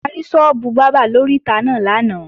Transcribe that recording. A rí sọ́ọ́bù bábà lóríta náà lánàá